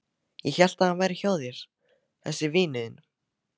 Ég hélt að hann væri hjá þér þessi vinur þinn.